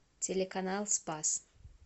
телеканал спас